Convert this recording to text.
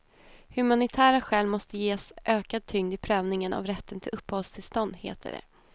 Humanitära skäl måste ges ökad tyngd i prövningen av rätten till uppehållstillstånd, heter det.